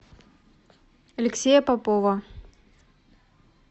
алексея попова